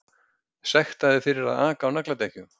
Sektaðir fyrir að aka á nagladekkjum